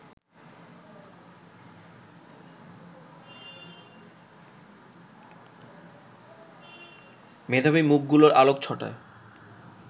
মেধাবী মুখগুলোর আলোকচ্ছটায়